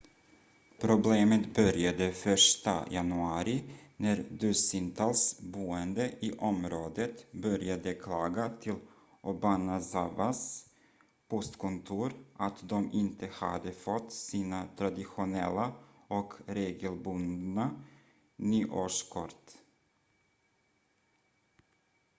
problemet började 1:a januari när dussintals boende i området började klaga till obanazawas postkontor att de inte hade fått sina traditionella och regelbundna nyårskort